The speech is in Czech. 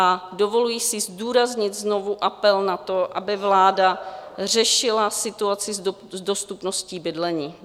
A dovoluji si zdůraznit znovu apel na to, aby vláda řešila situaci s dostupností bydlení.